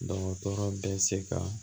Dɔgɔtɔrɔ bɛ se ka